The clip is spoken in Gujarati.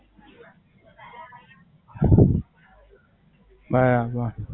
બરાબર.